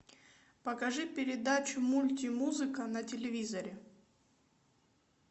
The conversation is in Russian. покажи передачу мультимузыка на телевизоре